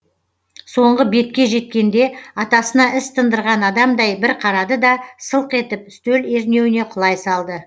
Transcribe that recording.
соңғы бетке жеткенде атасына іс тындырған адамдай бір қарады да сылқ етіп стөл ернеуіне құлай салды